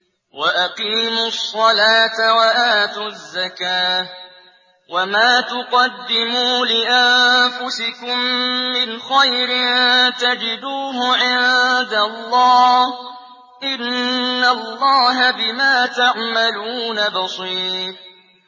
وَأَقِيمُوا الصَّلَاةَ وَآتُوا الزَّكَاةَ ۚ وَمَا تُقَدِّمُوا لِأَنفُسِكُم مِّنْ خَيْرٍ تَجِدُوهُ عِندَ اللَّهِ ۗ إِنَّ اللَّهَ بِمَا تَعْمَلُونَ بَصِيرٌ